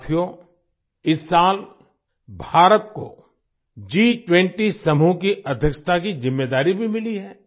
साथियो इस साल भारत को G20 समूह की अध्यक्षता की जिम्मेदारी भी मिली है